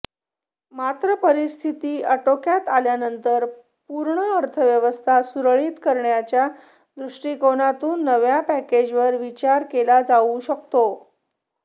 मात्र परिस्थिती अटोक्यात आल्यानंतर पूर्ण अर्थव्यवस्था सुरळीत करण्याच्या दृष्टिकोनातून नव्या पॅकेजवर विचार केला जाऊ शकतो